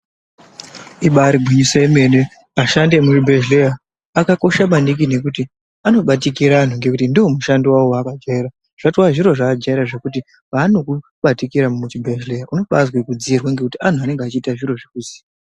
Ibaarii gwinyiso yemene ,ashandi emuzvibhedhleya akakosha maningi ngekuti anobatikira antu ngokuti ndoomushando wavo wavajaira, zvatoo zviro zvavajaira zvikuti paanokubatira muchibhedhleya unobaazwa kudziirwa ngekuti antu anenge echiita zviro zvikuziya.